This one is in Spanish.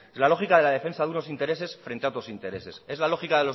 la lógica de la defensa de unos intereses frente a otros intereses es la lógica